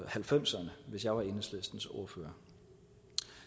halvfemserne hvis jeg var enhedslistens ordfører